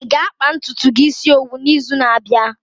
Ị ga-akpa ntutu gi isi owu n'izu na-abịa?